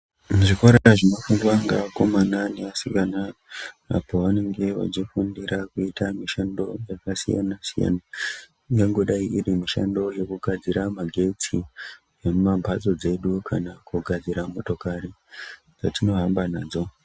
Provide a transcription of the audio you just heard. Muzvikora zvinofundwa ngevakomana nevasikana ,apo vanenge vachifundira kuita mishando yakasiyana-siyana, ingangodai iri mishando yekugadzira magetsi, emumamphatso dzedu, kana kugadzira motokari, dzatinohamba nadzo.